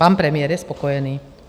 Pan premiér je spokojený.